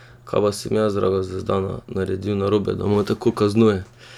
Kaj pa sem jaz, draga Zvezdana, naredil narobe, da me tako kaznuje?